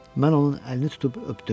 Mən onun əlini tutub öpdüm.